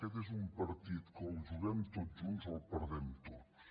aquest és un partit que o el juguem tots junts o el perdrem tots